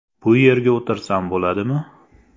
Bu yerga o‘tirsam bo‘ladimi?”.